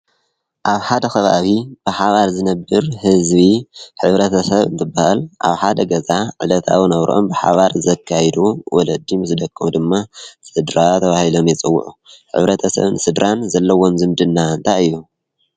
ኣብ ሓደ ኽባብ ብሓባር ዝነብር ሕዝቢ ሕብረተሰብ እትበሃል ኣብ ሓደ ገዛ ዕለታናብሮኦም ብሓባር ዘካይዱ ወለዲ ምስ ደቀም ድማ ሠድራ ብሂሎም የጽውዑ ሕብረተ ሰብ ንሥድራን ዘለዎም ዘምድና እንታይ እዮ?